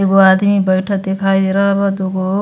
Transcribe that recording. एगो आदमी बैठत देखाई दे रहल बा। दुगो --